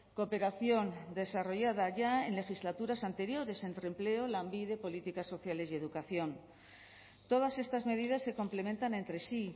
cooperación desarrollada ya en legislaturas anteriores entre empleo lanbide políticas sociales y educación todas estas medidas se complementan entre sí